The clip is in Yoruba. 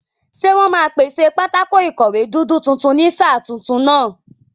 Ṣé wọ́n máa pèsè pátákó ìkọ̀wé dúdú tuntun ní sáà tuntun náà?